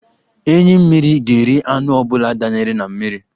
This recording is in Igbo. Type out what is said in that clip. Enyí mmiri ga-eri anụ ọ bụla danyere n'mmiri.